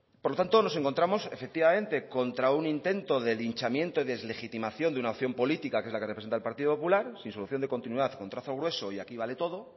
por lo tanto nos encontramos efectivamente contra un intento de linchamiento y deslegitimación de una opción política que es la que representa el partido popular sin solución de continuidad con trazo grueso y aquí vale todo